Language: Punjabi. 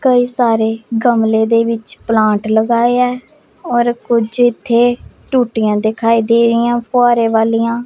ਕਈ ਸਾਰੇ ਗਮਲੇ ਦੇ ਵਿੱਚ ਪਲਾਂਟ ਲਗਾਇਆ ਔਰ ਕੁਝ ਇੱਥੇ ਟੂਟੀਆਂ ਦਿਖਾਈ ਦੇ ਰਹੀਆਂ ਫੁਹਾਰੇ ਵਾਲਿਆਂ।